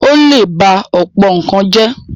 ó lè ba ọ̀pọ̀ nǹkan jẹ́.